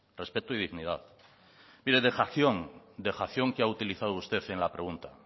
respeto y dignidad mire dejación dejación que ha utilizado usted en la pregunta